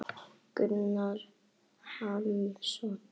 Gunnar Hansson